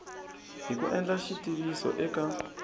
hi ku endla xitiviso eka